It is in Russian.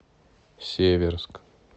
северск